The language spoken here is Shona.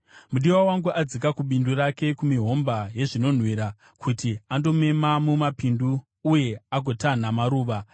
Mudiwa wangu adzika kubindu rake, kumihomba yezvinonhuwirira, kuti andomema mumapindu uye agotanha maruva.